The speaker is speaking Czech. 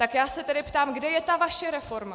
Tak já se tedy ptám, kde je ta vaše reforma.